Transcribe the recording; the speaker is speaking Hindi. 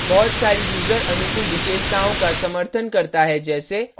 eclipse ide बहुत सारी यूजर अनुकूल विशेषताओं का समर्थन करता है जैसे